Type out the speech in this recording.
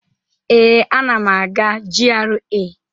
Ee, ana m aga GRA.